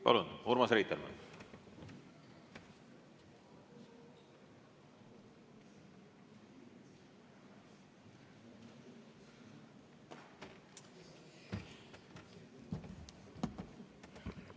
Palun, Urmas Reitelmann!